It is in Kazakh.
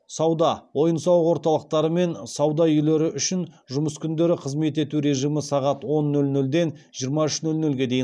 сауда ойын сауық орталықтары мен сауда үйлері үшін жұмыс күндері қызмет ету режимі сағат он нөл нөлден жиырма үш нөл нөлге дейін